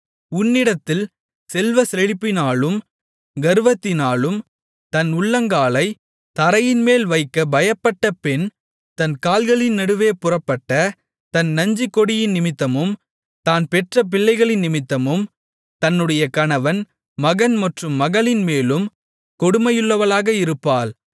உன்னிடத்தில் செல்வச்செழிப்பினாலும் கர்வத்தினாலும் தன் உள்ளங்காலைத் தரையின்மேல் வைக்க பயப்பட்ட பெண் தன் கால்களின் நடுவே புறப்பட்ட தன் நஞ்சுக்கொடியினிமித்தமும் தான் பெற்ற பிள்ளைகளினிமித்தமும் தன்னுடைய கணவன் மகன் மற்றும் மகளின் மேலும் கொடுமையுள்ளவளாக இருப்பாள்